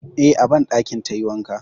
Eh, a banɗakin tayi wanka.